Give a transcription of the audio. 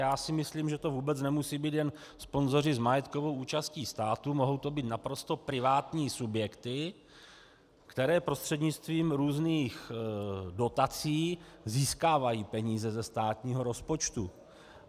Já si myslím, že to vůbec nemusí být jen sponzoři s majetkovou účastí státu, mohou to být naprosto privátní subjekty, které prostřednictvím různých dotací získávají peníze ze státního rozpočtu.